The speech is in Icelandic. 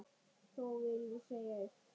Þó vil ég segja eitt.